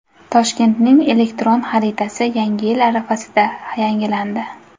Toshkentning elektron xaritasi Yangi yil arafasida yangilandi.